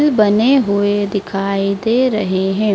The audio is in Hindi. बने हुए दिखाई दे रहें हैं।